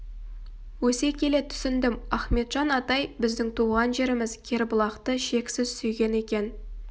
өсе келе түсіндім ахметжан атай біздің туған жеріміз кербұлақты шексіз сүйген екен